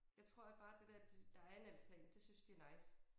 Jeg tror at bare det der der en altan det synes de er nice